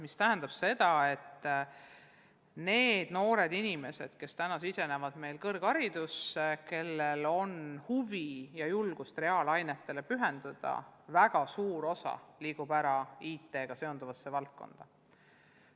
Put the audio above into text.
See tähendab, et nendest noortest inimestest, kes täna lähevad ülikooli ja kellel on huvi ja julgust reaalainetele pühenduda, liigub väga suur osa IT-ga seonduvasse valdkonda.